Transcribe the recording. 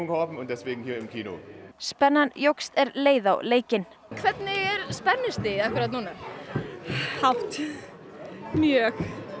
á leikinn spennan jókst er leið á leikinn hvernig er spennustigið núna hátt mjög